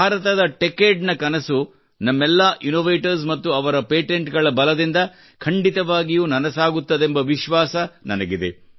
ಭಾರತದ ಟೆಚಡೆ ನ ಕನಸು ನಮ್ಮೆಲ್ಲಾ ಇನ್ನೋವೇಟರ್ಸ್ ಮತ್ತು ಅವರ ಪೇಟೆಂಟ್ ಗಳ ಬಲದಿಂದ ಖಂಡಿತವಾಗಿಯೂ ನನಸಾಗುತ್ತದೆಂಬ ವಿಶ್ವಾಸ ನನಗಿದೆ